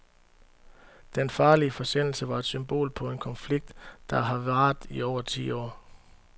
Den farlige forsendelse var et symbol på en konflikt, der har varet i over ti år.